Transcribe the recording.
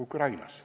Ukrainas.